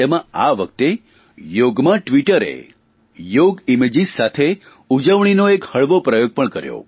તેમાં આ વખતે યોગમાં ટ્વીટરે યોગ ઇમેજીસ સાથે ઉજવણીનો એક હળવો પ્રયાસ પણ કર્યો